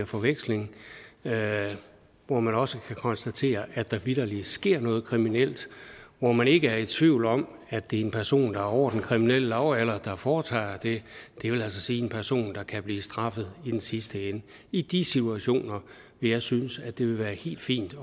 forveksling hvor man også kan konstatere at der vitterlig sker noget kriminelt hvor man ikke er i tvivl om at det er en person over den kriminelle lavalder der foretager det det vil sige en person der kan blive straffet i den sidste ende i de situationer vil jeg synes at det vil være helt fint